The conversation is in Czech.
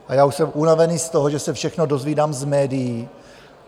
A já už jsem unavený z toho, že se všechno dozvídám z médií.